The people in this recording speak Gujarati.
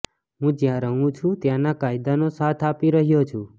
હું જ્યાં રહું છું ત્યાંના કાયદાનો સાથ આપી રહ્યો છું